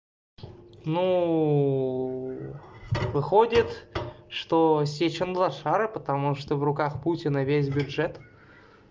ну выходит что сечин лошара потому что в руках путина весь бюджет